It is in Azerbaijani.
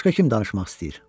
Başqa kim danışmaq istəyir?